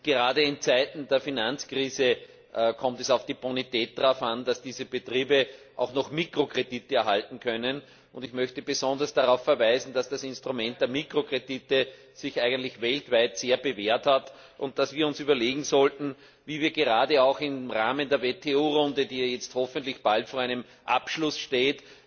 Gerade in Zeiten der Finanzkrise kommt es auf die Bonität an, damit diese Betriebe noch Mikrokredite erhalten können. Ich möchte besonders darauf verweisen, dass das Instrument der Mikrokredite sich eigentlich weltweit sehr bewährt hat und dass wir uns überlegen sollten, wie wir gerade auch im Rahmen der WTO Runde, die ja jetzt hoffentlich bald vor einem Abschluss steht,